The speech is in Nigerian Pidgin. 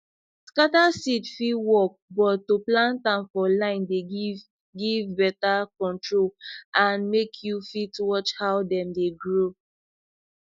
scatter seed fit work but to plant am for line dey give give better control and make you fit watch how dem dey grow